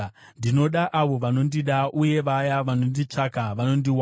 Ndinoda avo vanondida, uye vaya vanonditsvaka vanondiwana.